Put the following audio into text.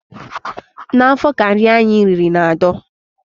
N'afọ ka nri anyị riri na-adọ.